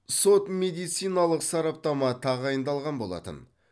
сот медициналық сараптама тағайындалған болатын